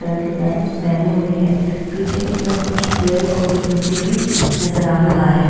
Colour की pant पहनी हुई है पीछे की तरफ कुछ पेड़ और कुछ मिट्टी भी नजर आ रहा है।